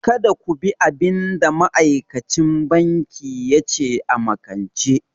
Kada ku bi abin da ma'aikacin banki ya ce a makance!